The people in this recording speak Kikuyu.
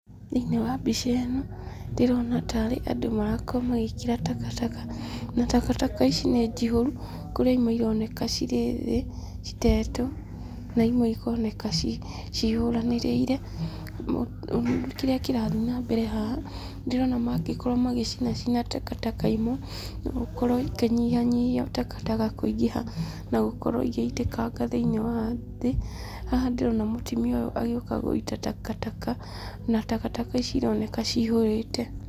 Thĩiniĩ wa mbica ĩno ndĩrona ta arĩ andũ marakorwo magĩkĩra takataka na takataka ici nĩ njihũru, kũrĩ imwe ĩroneka cirĩ thĩ citetwo na imwe ikoneka cihũranĩrĩire. Kĩrĩa kĩrathiĩ na mbere haha, ndĩrona mangĩkorwo magĩcinacina takataka imwe no gũkorwo ikĩnyihanyihia takataka kũingĩha na gũkorwo igĩitĩkanga thĩiniĩ wa thĩ. Haha ndĩrona mũtimia ũyũ agĩũka gũita takataka na takataka ici ironeka cihũrĩte.